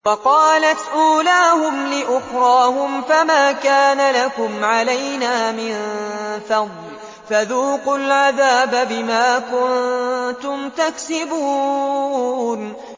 وَقَالَتْ أُولَاهُمْ لِأُخْرَاهُمْ فَمَا كَانَ لَكُمْ عَلَيْنَا مِن فَضْلٍ فَذُوقُوا الْعَذَابَ بِمَا كُنتُمْ تَكْسِبُونَ